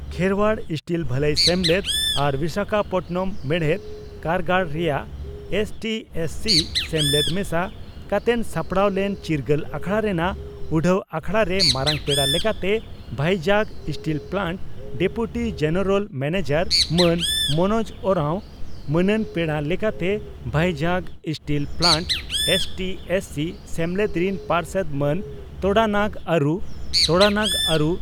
Kherwal steel ᱵᱷᱟᱹᱞᱟᱹᱭ ᱥᱮᱢᱞᱮᱫ ᱟᱨ ᱵᱤᱥᱟᱠᱷᱟᱯᱟᱴᱱᱟᱢ ᱢᱮᱲᱦᱮᱫ ᱠᱟᱨᱜᱟᱲ ᱨᱮᱭᱟᱜ ᱮᱥᱹᱴᱤᱹ/ᱮᱥᱹᱥᱤᱹ ᱥᱮᱢᱞᱮᱫ ᱢᱮᱥᱟ ᱠᱟᱛᱮᱱ ᱥᱟᱯᱲᱟᱣ ᱞᱮᱱ ᱪᱤᱨᱜᱟᱹᱞ ᱟᱠᱷᱟᱲᱟ ᱨᱮᱱᱟᱜ ᱩᱰᱷᱟᱹᱣ ᱟᱠᱷᱲᱟ ᱨᱮ ᱢᱟᱨᱟᱝ ᱯᱮᱲᱟ ᱞᱮᱠᱟᱛᱮ ᱵᱷᱟᱭᱡᱟᱜᱽ steel plant deputy general manager ᱢᱟᱱ ᱢᱚᱱᱚᱡᱽ ᱳᱨᱟᱶ, ᱢᱟᱹᱱᱟᱱ ᱯᱮᱲᱟ ᱞᱮᱠᱟᱛᱮ ᱵᱷᱟᱭᱡᱟᱜᱽ ᱥᱴᱤᱞ ᱯᱞᱟᱱᱴ ᱮᱥᱹᱴᱤᱹ/ᱮᱥᱹᱥᱤᱹ ᱥᱮᱢᱞᱮᱫ ᱨᱤᱱ ᱯᱟᱨᱥᱮᱛ ᱢᱟᱱ ᱛᱚᱰᱟᱱᱟᱜ ᱟᱨᱩ, ᱛᱚᱰᱟᱱᱟᱜᱽ ᱟᱨᱩ